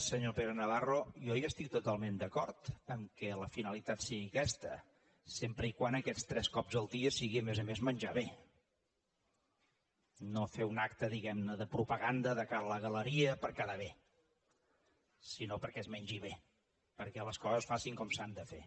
senyor pere navarro jo hi estic totalment d’acord que la finalitat sigui aquesta sempre que aquests tres cops al dia sigui a més a més menjar bé no fer un acte diguem ne de propaganda de cara a la galeria per quedar bé sinó perquè es mengi bé perquè les coses es facin com s’han de fer